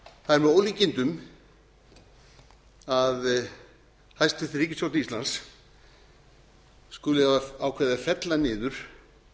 er með ólíkindum að hæstvirt ríkisstjórn íslands skuli hafa ákveðið að fella niður